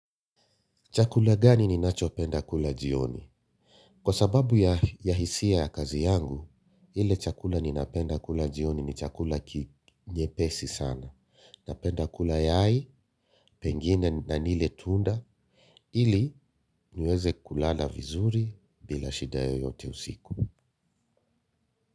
Chakula gani ninacho penda kula jioni? Kwa sababu ya hisia ya kazi yangu, ile chakula ninapenda kula jioni ni chakula ki nyepesi sana. Napenda kula yai, pengine na nile tunda, ili niweze kulala vizuri bila shida yeyote usiku.